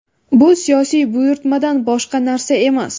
Bu siyosiy buyurtmadan boshqa narsa emas.